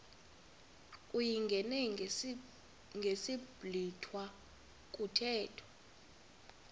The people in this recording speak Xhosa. uyingene ngesiblwitha kuthethwa